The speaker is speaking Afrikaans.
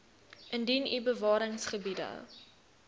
indien u bewaringsgebiede